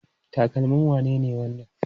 Takalmin wane ne wannan?